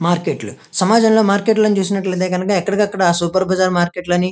Market లు సమాజం లో మార్కెట్ లాను చూసినట్లయితే గనుక ఏకదికాకడ సూపర్ బజార్ మార్కెట్ .